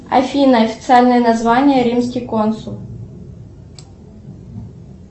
афина официальное название римский консул